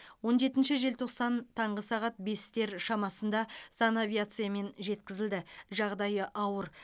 он жетінші желтоқсан таңғы сағат бестер шамасында санавиациямен жеткізілді жағдайы ауыр